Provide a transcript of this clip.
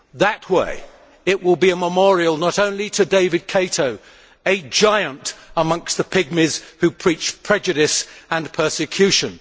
That would be a memorial not only to David Kato, a giant amongst the pygmies who preach prejudice and persecution.